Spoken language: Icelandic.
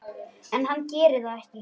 En hann gerir það ekki.